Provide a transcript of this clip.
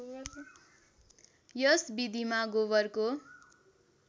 यस विधिमा गोबरको